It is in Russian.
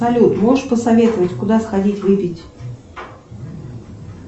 салют можешь посоветовать куда сходить выпить